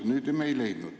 Nüüd me seda ei leidnud.